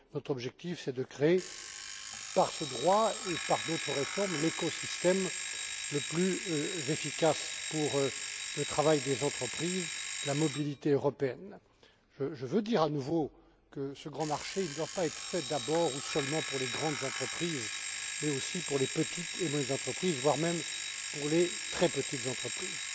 Notre objectif, c'est de créer, par ce droit et par d'autres réformes, l'écosystème le plus efficace pour le travail des entreprises, la mobilité européenne. Je veux dire à nouveau que ce grand marché ne doit pas être fait d'abord ou seulement pour les grandes entreprises, mais aussi pour les petites et moyennes entreprises, voire même pour les très petites entreprises.